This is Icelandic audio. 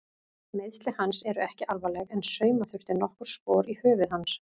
Meiðsli hans eru ekki alvarleg en sauma þurfti nokkur spor í höfuð hans.